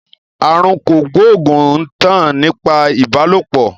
Àrùn kògbóògùn ń tàn nípasẹ̀ ìbálòpọ̀